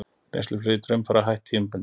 Reynsluflugi Draumfara hætt tímabundið